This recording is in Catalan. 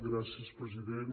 gràcies president